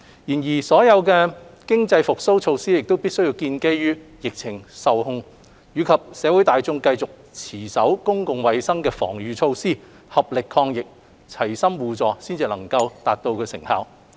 然而，所有經濟復蘇措施必須建基於疫情受控，以及社會大眾繼續持守公共衞生防禦措施，合力抗疫，齊心互助，方能收效。